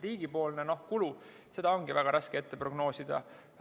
Riigi kulu on väga raske prognoosida.